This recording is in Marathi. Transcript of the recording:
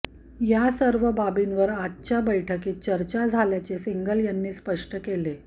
या सर्व बाबींवर आजच्या बैठकीत चर्चा झाल्याचे सिंगल यांनी स्पष्ट केले